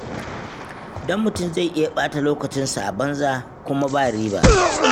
Don mutum zai iya ɓata lokacinsa a banza kuma ba riba.